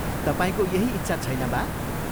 तपाईंको यही इच्छा छैन बा?